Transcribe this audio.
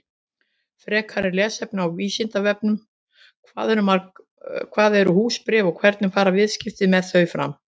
Frekara lesefni á Vísindavefnum: Hvað eru húsbréf og hvernig fara viðskipti með þau fram?